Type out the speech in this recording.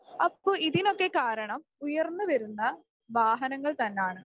അപ്പൊ ഇതിനൊക്കെ കാരണം ഉയർന്നു വരുന്ന വാഹനങ്ങൾ തന്നാണ്.